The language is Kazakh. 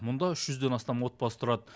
мұнда үш жүзден астам отбасы тұрады